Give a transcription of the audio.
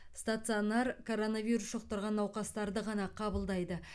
стационар коронавирус жұқтырған науқастарды ғана қабылдайды